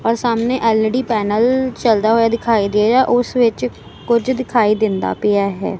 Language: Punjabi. ਔਰ ਸਾਹਮਨੇ ਐਲ_ਈ_ਡੀ ਪੈਨਲ ਚੱਲਦਾ ਹੋਇਆ ਦਿਖਾਈ ਦੇ ਰਿਹਾ ਹੈ ਓਸ ਵਿੱਚ ਕੁਛ ਦਿਖਾਈ ਦਿੰਦਾ ਪਿਆ ਹੈ।